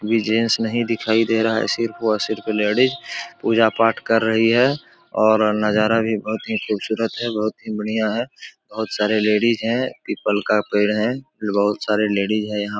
एक भी जेंट्स नही दिखाई दे रहा है। सिर्फ और सिर्फ लेडीज पूजा पाठ कर रही है और नजारा भी बोहोत ही खूबसूरत है। बोहोत ही बढ़ियां हैं। बोहोत सारे लेडीज हैं। पीपल का पेड़ हैं। बहोत सारे लेडीज हैं यहाँ --